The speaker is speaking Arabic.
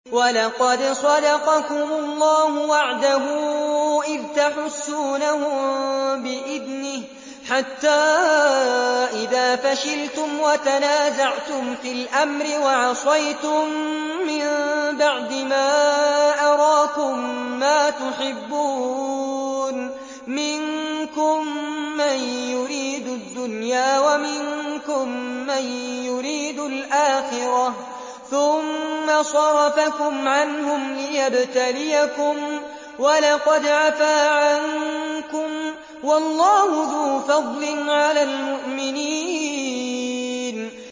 وَلَقَدْ صَدَقَكُمُ اللَّهُ وَعْدَهُ إِذْ تَحُسُّونَهُم بِإِذْنِهِ ۖ حَتَّىٰ إِذَا فَشِلْتُمْ وَتَنَازَعْتُمْ فِي الْأَمْرِ وَعَصَيْتُم مِّن بَعْدِ مَا أَرَاكُم مَّا تُحِبُّونَ ۚ مِنكُم مَّن يُرِيدُ الدُّنْيَا وَمِنكُم مَّن يُرِيدُ الْآخِرَةَ ۚ ثُمَّ صَرَفَكُمْ عَنْهُمْ لِيَبْتَلِيَكُمْ ۖ وَلَقَدْ عَفَا عَنكُمْ ۗ وَاللَّهُ ذُو فَضْلٍ عَلَى الْمُؤْمِنِينَ